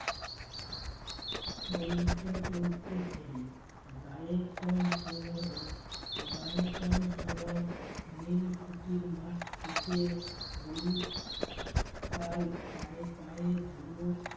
টলতে টলতে ফেরে গাঁয়ে কম সম হম গায়ে কম সময় নীল কুঠির মাঠ থেকে গরুর পাল পায়ে পায়ে ধুলো